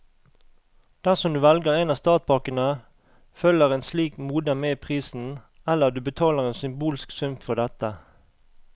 Dersom du velger en av startpakkene, følger et slikt modem med i prisen, eller du betaler en symbolsk sum for dette.